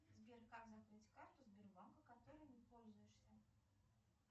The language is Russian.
сбер как закрыть карту сбербанка которой не пользуешься